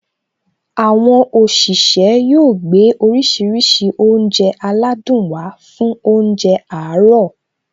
Àwọn òṣìṣẹ́ yóò gbé oríṣiríṣi oúnjẹ aládùn wá fún óúnjẹ àárọ̀